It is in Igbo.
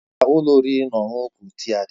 Ebee ka ụlọ oriri na ọṅụṅụ Protia dị?